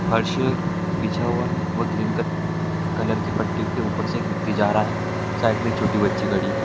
फर्श मे बिछा हुआ है वो ग्रीन कट कलर की पट्टी के ऊपर से एक व्यक्ति जा रहा है साइड में एक छोटी बच्ची खड़ी है।